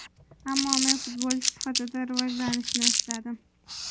Ammo men futbolchi sifatida rivojlanishni istadim.